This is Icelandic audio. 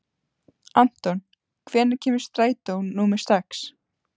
Anton, hvenær kemur strætó númer sex?